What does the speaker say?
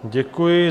Děkuji.